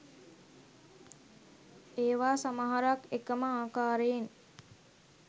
ඒවා සමහරක් එකම ආකාරයෙන්